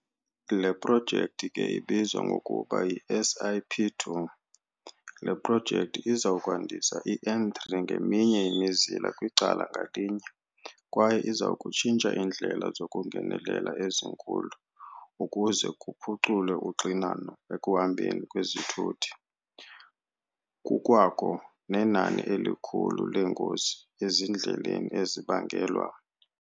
Le projekthi ke ibizwa ngokuba yi-SIP2. Le projekthi izakwandisa i-N3 ngeminye imizila kwicala ngalinye. Kwaye izakutshintsha iindlela zokungenelela ezinkulu ukuze kuphuculwe uxinano ekuhambeni kwezithuthi. Kukwakho nenani elikhulu leengozi ezindleleni ezibangelwa.